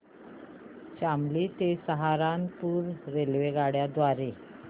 शामली ते सहारनपुर रेल्वेगाड्यां द्वारे